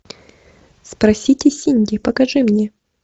спросите синди покажи мне